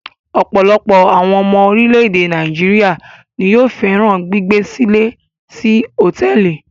Ọ̀pọ̀ àwọn ọmọ orílẹ̀-èdè Nàìjíríà ni yóò fẹ́ràn gbígbé-sílé sí hotẹẹli.